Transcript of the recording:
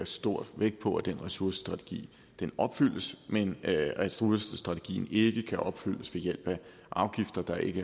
stor vægt på at den ressourcestrategi opfyldes men at ressourcestrategien ikke kan opfyldes ved hjælp af afgifter der ikke